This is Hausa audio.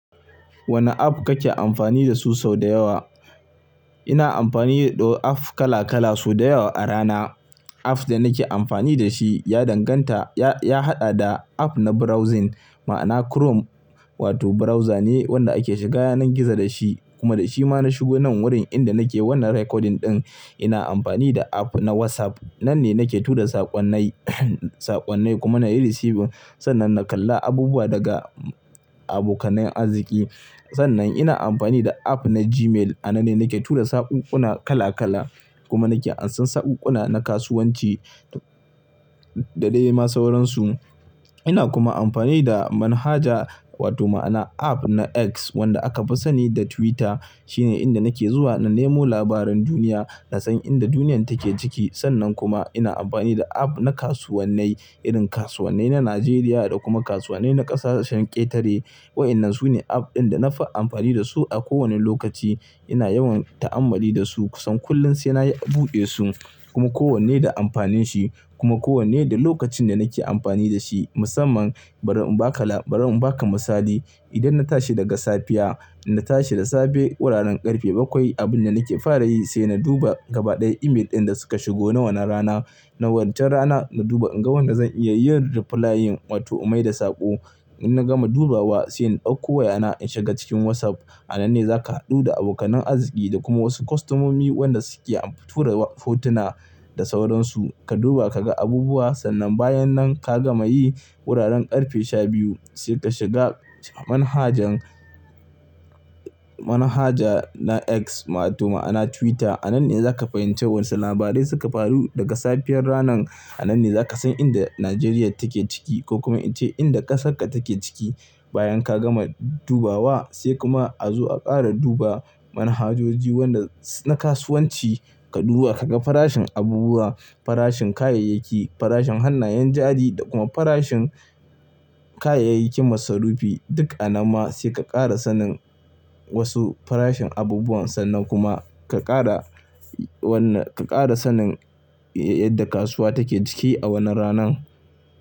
Wane app kake amfani dasu sau da yawa? Ina amfani da ɗo app kala kala sau da yawa a rana. App da nake amfani da shi ya danganta, ya, ya haɗa da app na browsing ma'ana Chrome wato browser ne wanda ake shiga yanan gizo da shi kuma da shi ma na shigo nan wurin inda nake wannan recording ɗin. Ina amfani da app na WhatsApp, nan ne nake tura saƙonnai, saƙonnai kuma na receiving. Sannan na kalla abubuwa daga abokanai azziƙi. Sannan ina amfani da app na Gmail, a nan ne nake tura sakuƙuna kala kala kuma nake ansan sakuƙuna na kasuwanci da dai ma sauransu. Ina kuma amfani da manhaja wato ma'ana app na X wanda aka fi sani da Twitter shine inda nake zuwa na nemo labaran duniya, na san inda duniyan take ciki. Sannan kuma ina amfani da app na kasuwannai, irin kasuwannai na Najeriya da kuma kasuwannai na ƙasashen ƙetare. Wa'inan su ne app ɗin da na fi amfani dasu a kowani lokaci. Ina yawan ta'ammali dasu kusan kullum sai na buɗe su kuma kowanne da amfanin shi kuma kowanne da lokacin da nake amfani da shi. Musamman bari in ba ka lab bari in ba ka misali, idan na tashi daga safiya, inna tashi da safe wuraren ƙarfe bakwai abin da nake fara yi sai na duba gaba ɗaya email ɗin da suka shigo wannan rana. Na wancan rana na duba in ga wanda zan iya yin replying wato mai da saƙo. In na gama dubawa sai in ɗauko wayana in shiga cikin WhatsApp. A nan ne za ka haɗu da abokana azziƙi da kuma wasu kostomomi wanda suke tura fotuna da sauransu. Ka duba ka ga abubuwa sannan bayan nan ka gama yi wuraren ƙarfe sha biyu sai ka shiga manhajan, manhaja na X wato ma'ana Twitter. A nan ne za ka fahimci wasu labarai suka faru daga safiyar ranan. A nan ne za ka san inda Najeriya take ciki ko kuma ita inda ƙasarka take ciki. Bayan ka gama dubawa sai kuma a zo a ƙara duba manhajoji wanda na kasuwanci. Ka duba ka ga farashin abubuwa, farashin kayayyaki, farashin hannayen jari da kuma farashin kayayyakin masarufi duk a nan ma. Sai ka ƙara sanin wasu farashin abubuwan sannan kuma ka ƙara wannan, ka ƙara sanin yadda kasuwa take ciki a wannan ranan.